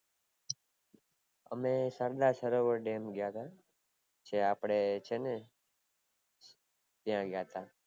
અમે સરદાર સરોવર ડેમ ગયા તા, જે આપડે છેને ત્યાં ગયા હતા